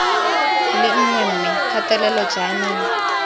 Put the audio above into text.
le nngwe mme kgatelelo jaanong